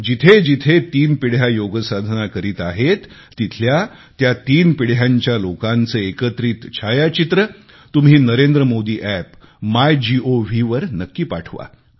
जिथे जिथे तीन पिढ्या योगसाधना करीत आहेत तिथल्या त्या तिन्ही पिढीच्या लोकांचे एकत्रित छायाचित्र तुम्ही नरेंद्रमोदीअप्प मायगोव वर नक्की पाठवा